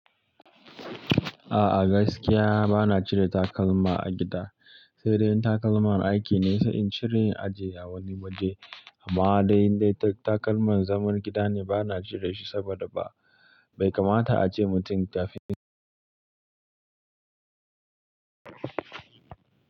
A'a gaskiya bana cire takalma a gida, sai dai in takalman aiki ne sai in cire ajiye a wani waje amma dai indai ta takalman zaman gida ne bana cire shi saboda ba, bai kamata a ce mutum ta fi.